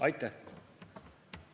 Aitäh!